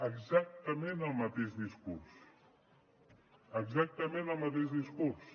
exactament el mateix discurs exactament el mateix discurs